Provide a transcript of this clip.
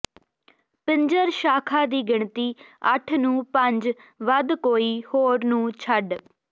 ਪਿੰਜਰ ਸ਼ਾਖਾ ਦੀ ਗਿਣਤੀ ਅੱਠ ਨੂੰ ਪੰਜ ਵੱਧ ਕੋਈ ਹੋਰ ਨੂੰ ਛੱਡ